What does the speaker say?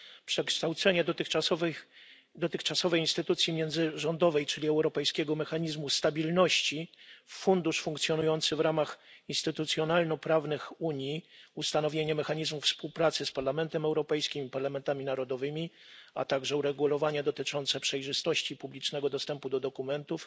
Przekształcenie dotychczasowej instytucji międzyrządowej czyli Europejskiego Mechanizmu Stabilności w fundusz funkcjonujący w ramach instytucjonalno prawnych Unii, ustanowienie mechanizmu współpracy z Parlamentem Europejskim, parlamentami narodowymi, a także uregulowania dotyczące przejrzystości publicznego dostępu do dokumentów